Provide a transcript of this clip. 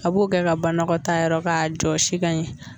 A b'o kɛ ka banagɔtaa yɔrɔ k'a jɔsi ka ɲɛ.